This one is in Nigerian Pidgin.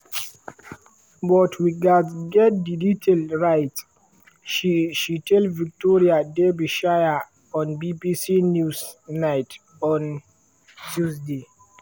but we gatz get di detail right” she she tell victoria derbyshire on bbc newsnight on tuesday.